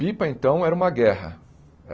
Pipa, então, era uma guerra.